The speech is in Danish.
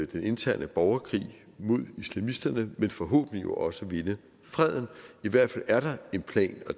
den interne borgerkrig mod islamisterne men forhåbentlig også at vinde freden i hvert fald er der en plan og